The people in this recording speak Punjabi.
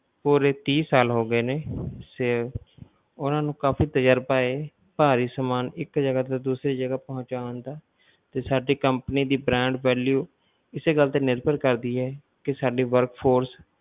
ਪੂਰੇ ਤੀਹ ਸਾਲ ਹੋ ਗਏ ਨੇ ਸੇ~ ਓਹਨਾ ਨੂੰ ਕਾਫੀ ਤਜਰਬਾ ਹੈ ਭਾਰੀ ਸਮਾਨ ਇੱਕ ਜਗਾ ਤੋਂ ਦੂਸਰੀ ਜਗਾ ਪਹੁਚਾਉਣ ਦਾ ਤੇ ਸਾਡੀ company ਦੀ brand value ਇਸੇ ਗੱਲ ਤੇ ਨਿਰਭਰ ਕਰਦੀ ਹੈ ਕਿ ਸਾਡੀ work force